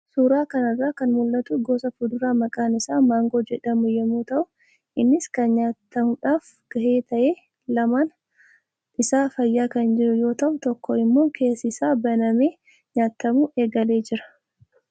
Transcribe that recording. Suuraa kanarraa kan mul'atu gosa fuduraa maqaan isaa maangoo jedhamu yommuu ta'u, innis kan nyaatamuudhaaf gahe ta'ee lamaan isaa fayyaa kan jiru yoo ta'u tokko immoo keessi isaa banamee nyaatamuu eegalee jira.